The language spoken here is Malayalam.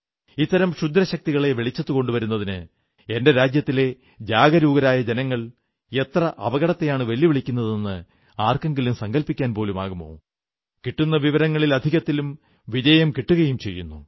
ഇത്തരം ക്ഷുദ്രശക്തികളെ വെളിച്ചത്തു കൊണ്ടുവരുന്നതിന് എന്റെ രാജ്യത്തിലെ ജാഗരൂകരായ ജനങ്ങൾ എത്ര അപകടത്തെയാണു വെല്ലുവിളിക്കുന്നതെന്ന് ആർക്കെങ്കിലും സങ്കല്പ്പിക്കാൻ പോലുമാകുമോ കിട്ടുന്ന വിവരങ്ങളിൽ അധികത്തിലും വിജയം കിട്ടുകയും ചെയ്യുന്നു